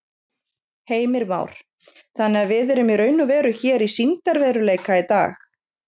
Heimir Már: Þannig að við erum í raun og veru hér í sýndarveruleika í dag?